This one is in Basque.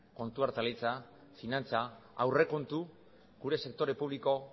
kontu finantza aurrekontu gure sektore publiko